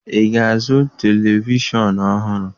Ị ga-azụ televishọn ọhụrụ?